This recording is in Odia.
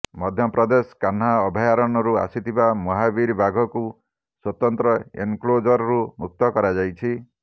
ମଧ୍ୟପ୍ରଦେଶ କାହ୍ନା ଅଭୟାରଣ୍ୟରୁ ଆସିଥିବା ମହାବୀର ବାଘକୁ ସ୍ୱତନ୍ତ୍ର ଏନକ୍ଲୋଜରରୁ ମୁକ୍ତ କରାଯାଇଛି